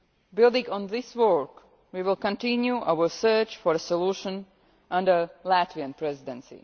Building on this work, we will continue our search for a solution under the Latvian Presidency.